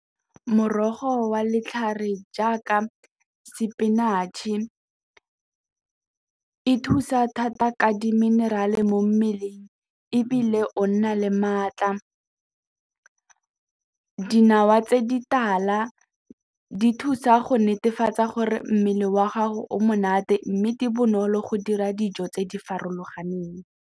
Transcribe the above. Morogo wa letlhare jaaka spinach-e e thusa thata ka di-mineral-e mo mmeleng ebile o nna le maatla, dinawa tse di tala di thusa go netefatsa gore mmele wa gago o monate mme di bonolo go dira dijo tse di farologaneng.